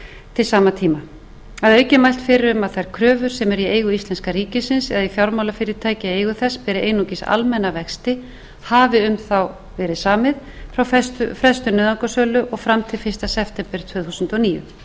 til sama tíma að auki er mælt fyrir um að þær kröfur sem eru í eigu íslenska ríkisins eða fjármálafyrirtæki í eigu þess beri einungis almenna vexti hafi um þá verið samið frá frestun nauðungarsölu og fram til fyrsta september tvö þúsund og níu tengt þessu